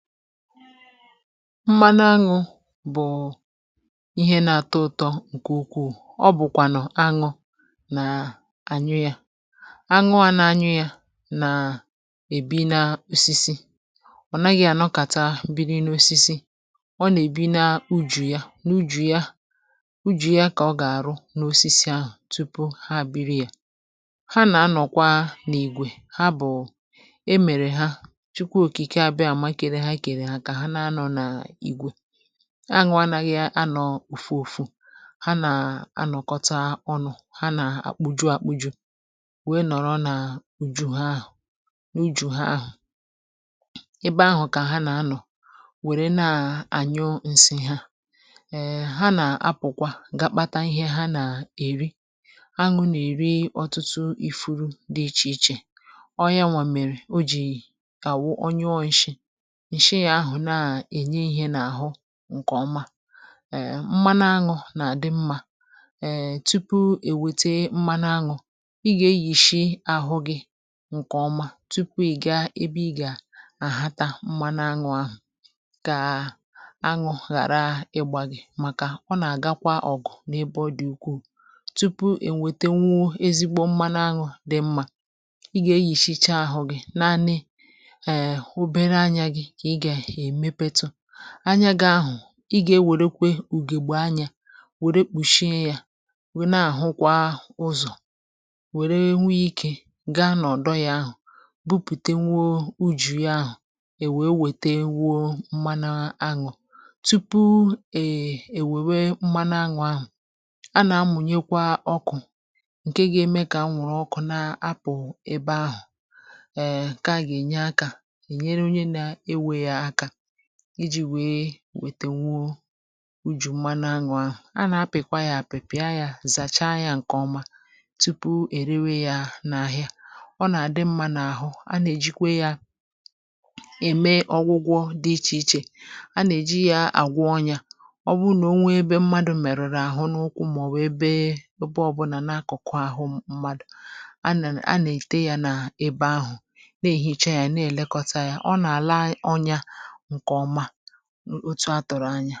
mmana aṅụ bụ̀ ihe na-atọ ụtọ ǹkè ukwuù ọ bụ̀kwànụ̀ aṅụ nà aṅụ yȧ aṅụ à nà aṅụ yȧ nà-èbi na osisi ọ̀ naghị̇ ànọkata mbiri n’osisi ọ nà-èbi na ujì ya n’ujì ya ujì ya kà ọ gà-àrụ n’osisi ahụ̀ tupu ha àbịrị yȧ ha nà-anọ̀kwa n’ìgwè ha bụ̀ aṅụ anaghị anọ̀ ùfu òfu ha nà-anọ̀kọta ọnụ̇ ha nà-akpụju akpụju wee nọrọ nà-uju ha ahụ̀ n’uju ha ahụ̀ ebe ahụ̀ kà ha nà-anọ̀ wère nà-ànyụ ǹsị ha eee um ha nà-apụ̀kwa ga-kpata ihe ha nà-èri anụ nà-èri ọtụtụ ifuru dị ichè ichè ọọ ya nwà mèrè o jì àwụ ọnyụọ ị shị ǹkèọma eme mmana-aṅụ nà-àdị mmȧ ee tupu èwete mma na-aṅụ ị gà-eyishi ahụ gị ǹkèọma tupu èga ebe ị gà-àhata mmana-aṅụ ahụ̀ kàà aṅụ ghàra ịgbàghị̀ màkà ọ nà-àgakwa ọ̀gụ̀ n’ebe dị̀ ukwuù tupu ènwete nwuo ezigbo mmana-aṅụ dị mmȧ ị gà-eyishicha ahụ gị̇ naanị anyȧ gà-ahụ̀ ị gà-ewerekwe ùgègbù anya wère kpùshie yȧ wèe na-àhụkwa ụzọ̀ wère nwee ikė gaa nọ̀dọ yȧ ahụ̀ bupùte nwuo ujù ya ahụ̀ èwèe wète nwuo mmana anwụ̇ tupu èèwèwe mmana anwụ̇ ahụ̀ a nà-amùnyekwa ọkụ̀ ǹke ga-eme kà a nwụ̀rụ̀ ọkụ na-apụ̀ ebe ahụ̀ iji̇ wèe wètèwu ujù mana à nwà ahụ̀ a nà-apị̀kwa yȧ àpịpị̀a yȧ zàcha yȧ ǹkèọma tupu èrewe yȧ n’ahịa ọ nà-àdị mmȧ n’àhụ a nà-èjikwe yȧ ème ọgwụgwọ dị ichè ichè a nà-èji yȧ àgwọ ọnyȧ ọ bụrụ nà ọ nwẹ ẹbẹ mmadu̇ mèrụ̀rụ̀ àhụ n’ụkwụ um mà ọ̀ wụ̀ ẹbẹ ọbụlà nakọ̀kụ àhụ mmadù a nà a nà-èji ya nà ebe ahụ̀ nà èhìcha yȧ na-èlekọta yȧ ọ nà àla ọnyȧ ọ chọ̀rọ̀ anya